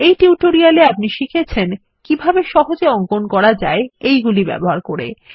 এই টিউটোরিয়ালটি তে আপনি শিখেছেন কিভাবে সহজে অঙ্কন করা যায় এগুলি ব্যবহার করে